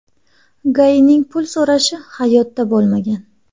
GAIning pul so‘rashi hayotda bo‘lmagan .